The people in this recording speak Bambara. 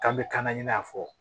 K'an bɛ kana ɲinɛ a kɔ